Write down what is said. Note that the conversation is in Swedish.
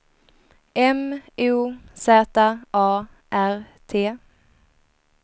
M O Z A R T